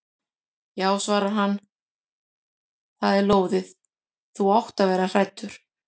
Já svarar hann, það er lóðið, þú átt að vera hræddur.